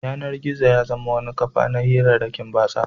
Yanar-gizo ta zama wata kafa ta hirarrakin batsa.